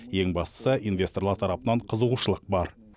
ең бастысы инвесторлар тарапынан қызығушылық бар